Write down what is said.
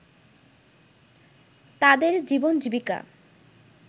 তাদের জীবনজীবিকা